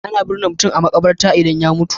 Ana birne mutum a maƙabarta idan ya mutum.